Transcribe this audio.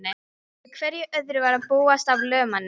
Við hverju öðru var að búast af lögmanni?